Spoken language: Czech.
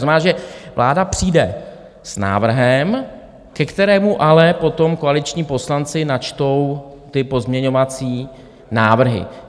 To znamená, že vláda přijde s návrhem, ke kterému ale potom koaliční poslanci načtou ty pozměňovací návrhy.